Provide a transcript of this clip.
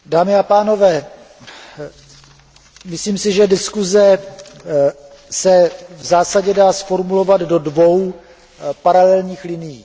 Dámy a pánové, myslím si, že diskuze se v zásadě dá zformulovat do dvou paralelních linií.